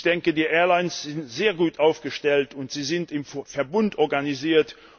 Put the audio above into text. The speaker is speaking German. Ich denke, die Airlines sind sehr gut aufgestellt und sie sind im Verbund organisiert.